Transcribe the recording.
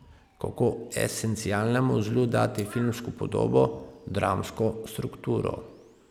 Kako esencialnemu zlu dati filmsko podobo, dramsko strukturo?